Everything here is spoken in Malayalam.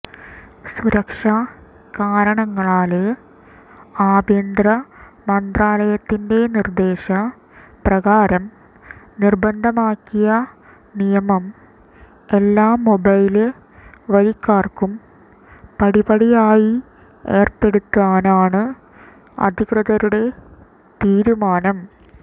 സുരക്ഷ കാരണങ്ങളാല് ആഭ്യന്തര മന്ത്രാലയത്തിന്റെ നിര്ദേശ പ്രകാരം നിര്ബന്ധമാക്കിയ നിയമം എല്ലാ മൊബൈല് വരിക്കാര്ക്കും പടിപടിയായി ഏര്പ്പെടുത്താനാണ് അധികൃതരുടെ തീരുമാനം